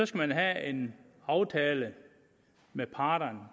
skal have en aftale med parterne